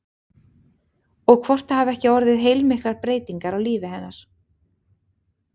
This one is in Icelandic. Og hvort það hafi ekki orðið heilmiklar breytingar á lífi hennar?